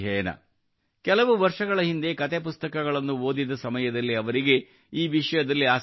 ಕೆಲವು ವರ್ಷಗಳ ಹಿಂದೆ ಕತೆ ಪುಸ್ತಕಗಳನ್ನು ಓದಿದ ಸಮಯದಲ್ಲಿ ಅವರಿಗೆ ಈ ವಿಷಯದಲ್ಲಿ ಆಸಕ್ತಿ ಮೂಡಿತು